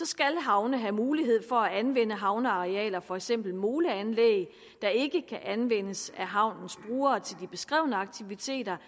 skal havne have mulighed for at anvende havnearealer for eksempel moleanlæg der ikke kan anvendes af havnens brugere til de beskrevne aktiviteter